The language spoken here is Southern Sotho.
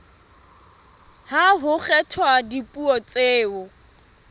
ha ho kgethwa dipuo tseo